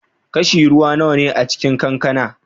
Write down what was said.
Kashi ruwa nawa ne a cikin kankana?